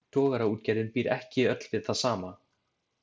Togaraútgerðin býr ekki öll við það sama.